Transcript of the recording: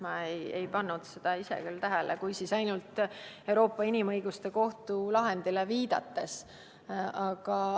Ma ise ei pannud seda küll tähele – kui, siis ainult Euroopa Inimõiguste Kohtu lahendile viidates.